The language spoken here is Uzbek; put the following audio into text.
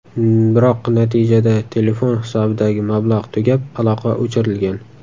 Biroq natijada, telefon hisobidagi mablag‘ tugab, aloqa o‘chirilgan.